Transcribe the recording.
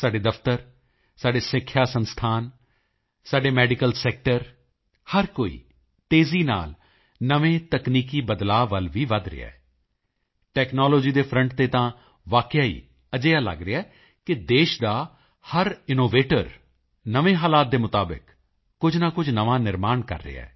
ਸਾਡੇ ਦਫ਼ਤਰ ਸਾਡੇ ਸਿੱਖਿਆ ਸੰਸਥਾਨ ਸਾਡੇ ਮੈਡੀਕਲ ਸੈਕਟਰ ਹਰ ਕੋਈ ਤੇਜ਼ੀ ਨਾਲ ਨਵੇਂ ਤਕਨੀਕੀ ਬਦਲਾਅ ਵੱਲ ਵੀ ਵਧ ਰਿਹਾ ਹੈ ਟੈਕਨਾਲੋਜੀ ਦੇ ਫਰੰਟ ਤੇ ਤਾਂ ਵਾਕਿਆ ਹੀ ਅਜਿਹਾ ਲੱਗ ਰਿਹਾ ਹੈ ਕਿ ਦੇਸ਼ ਦਾ ਹਰ ਇਨੋਵੇਟਰ ਨਵੇਂ ਹਾਲਾਤ ਦੇ ਮੁਤਾਬਿਕ ਕੁਝ ਨਾ ਕੁਝ ਨਵਾਂ ਨਿਰਮਾਣ ਕਰ ਰਿਹਾ ਹੈ